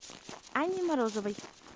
анне морозовой